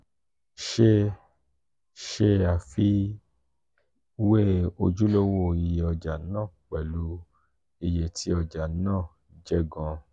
ṣe ṣe afiwe ojulowo iye oja naa pẹlu iye ti ọja naa je gan.